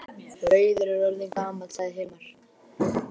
Rauður er orðinn gamall, sagði Hilmar.